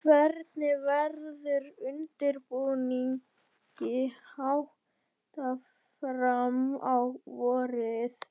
Hvernig verður undirbúningi háttað fram á vorið?